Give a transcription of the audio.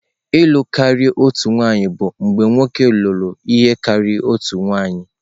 ịlụ karịa otu nwanyị bụ mgbe nwoke lụrụ ihe karịrị otu nwunye.